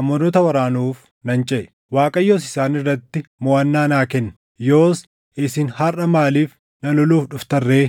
Amoonota waraanuuf nan ceʼe; Waaqayyos isaan irratti moʼannaa naa kenne. Yoos isin harʼa maaliif na loluuf dhuftan ree?”